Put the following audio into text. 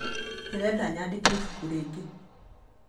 Ndĩrenda nyandĩke ibuku rĩngĩ